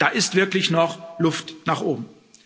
Da ist wirklich noch Luft nach oben.